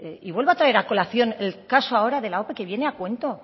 y vuelva a traer a colación el caso de la ope que viene a cuento